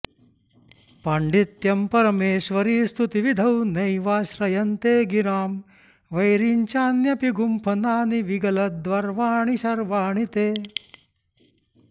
पाण्डित्यं परमेश्वरि स्तुतिविधौ नैवाश्रयन्ते गिरां वैरिञ्चान्यपि गुम्फनानि विगलद्गर्वाणि शर्वाणि ते